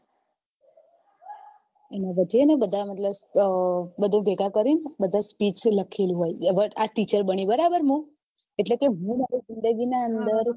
એના પછી બધા ને ભેગા કરી speech લખેલી હોય આ teacher બની બરાબર મુ એટલે હું મારા જિંદગી ના અંદર